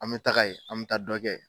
An bɛ taga ye an bɛ taa dɔn kɛ yen